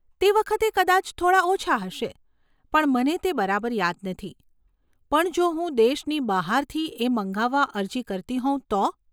તે વખતે કદાચ થોડાં ઓછાં હશે, પણ મને તે બરાબર યાદ નથી. પણ જો હું દેશની બહારથી એ મંગાવા અરજી કરતી હોઉં તો?